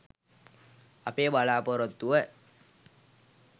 අපේ බලාපොරොත්තුව